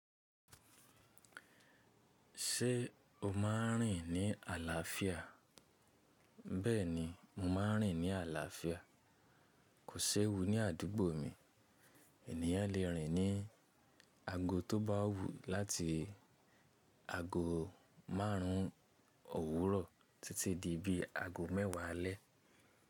Ṣé o máa ń rìn ní àlàáfíà? Ṣé o máa ń rìn ní àlàáfíà? Kò séwu ní àdúgbò mi. Ènìyàn lè rìn ní ago tó bá wù láti ago márùn òwúro titi di bí ago mẹ́wàá alẹ́.